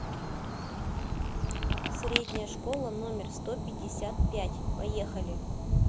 средняя школа номер сто пятьдесят пять поехали